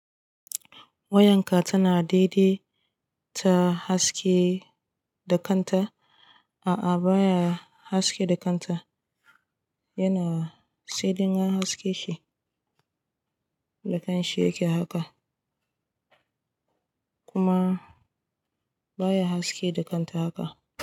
Wayanka tana daidaita haske da kanta, a'a baya haske da kanta, yana sai din an haske shi da kanshi yake haka kuma baya haske da kanta haka.